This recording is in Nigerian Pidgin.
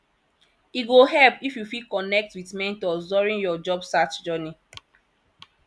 e go help if you fit connect with mentors during your job search journey